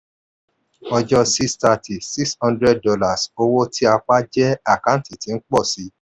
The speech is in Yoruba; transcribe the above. ọjọ́ 6/30: $600 owó tí a pa jẹ́ àkántì tí ń pọ̀ si.